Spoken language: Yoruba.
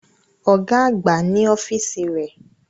Ọ̀gá àgbà ni ọ́fíìsì rẹ̀